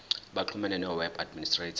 baxhumane noweb administrator